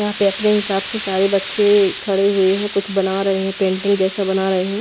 यहां पे अपने हिसाब से सारे बच्चे खड़े हुए हैं कुछ बना रहे हैं पेंटिंग जैसा बना रहे हैं।